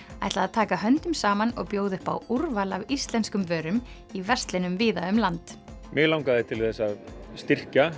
taka höndum saman og bjóða upp á úrval af íslenskum vörum í verslunum víða um land mig langaði til þess að styrkja